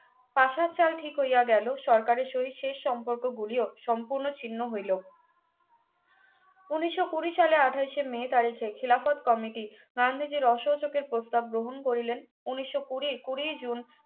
পাসার চাল ঠিক হইয়া গেলো সরকারের সহিত শেষ সম্পর্ক গুলিও সম্পূর্ণ ছিন্ন হইলো উনিশশো কুড়ি সালে আঠাশে মে তারিখে খিলাফৎ কমিটি গান্ধীজির অসহযোগের প্রস্তাব গ্রহণ করিলেন ঊনিশো কুড়ি কুড়িই জুন